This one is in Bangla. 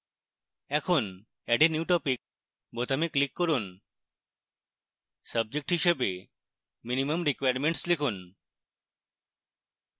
এখন add a new topic বোতামে click করুন subject হিসাবে minimum requirements লিখুন